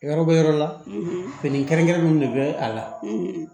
Yɔrɔ bɛ yɔrɔ la fini kɛrɛnkɛrɛnnen de bɛ a la